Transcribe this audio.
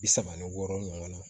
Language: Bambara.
Bi saba ni wɔɔrɔ ɲɔgɔn na